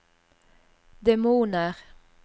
demoner